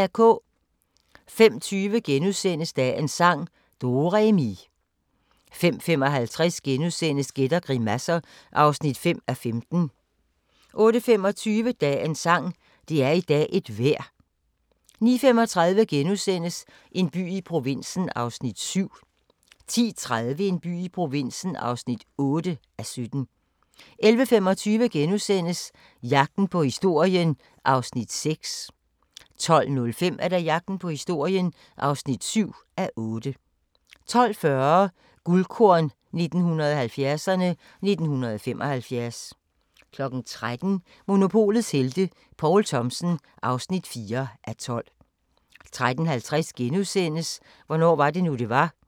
05:20: Dagens sang: Do-re-mi * 05:55: Gæt og grimasser (5:15)* 08:25: Dagens sang: Det er i dag et vejr 09:35: En by i provinsen (7:17)* 10:30: En by i provinsen (8:17) 11:25: Jagten på historien (6:8)* 12:05: Jagten på historien (7:8) 12:40: Guldkorn 1970'erne: 1975 13:00: Monopolets helte - Poul Thomsen (4:12) 13:50: Hvornår var det nu det var *